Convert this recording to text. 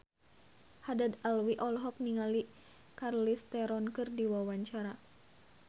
Haddad Alwi olohok ningali Charlize Theron keur diwawancara